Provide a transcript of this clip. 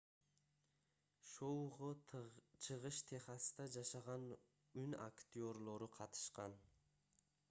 шоуго чыгыш техаста жашаган үн актёрлору катышкан